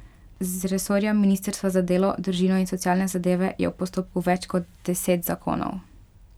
Z resorja ministrstva za delo, družino in socialne zadeve je v postopku več kot deset zakonov.